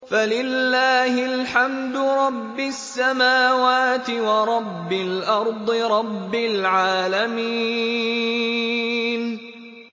فَلِلَّهِ الْحَمْدُ رَبِّ السَّمَاوَاتِ وَرَبِّ الْأَرْضِ رَبِّ الْعَالَمِينَ